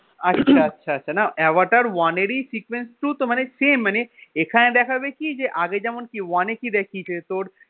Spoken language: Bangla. আচ্ছা আচ্ছা আচ্ছা না আভাটার one এরই মানে sequence two তো মানে same মানে এখানে দেখাবে কি যে আগে যেমন one এ কি দেখিয়েছে তোর